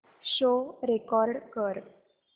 show record कर